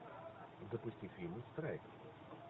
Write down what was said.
запусти фильм страйк